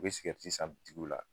U bɛ san la.